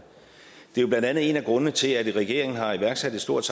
det er blandt andet en af grundene til at regeringen har iværksat et stort